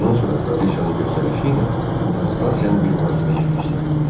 Bundan sonra Kraliçanın göstərişi ilə Konstansiyanı bir monastıra yerləşdiriblər.